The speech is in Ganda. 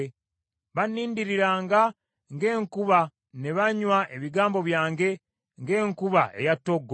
Bannindiriranga ng’enkuba ne banywa ebigambo byange ng’enkuba eya ttoggo.